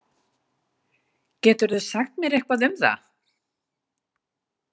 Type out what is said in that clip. Getirðu sagt mér eitthvað um það?